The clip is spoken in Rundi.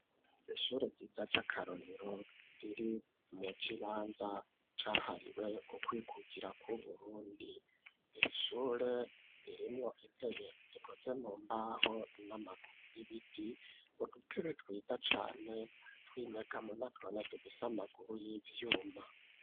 Ishure ryiza ry'akarorero riri mu kibanza cahariwe ukwikukira kw'uburundi iri shure ririmwo intebe zikoze mu mbaho n'amaguru y'ibiti, udutebe twiza cane twinyegamo natwo nyene dufise amaguru y'ivyuma.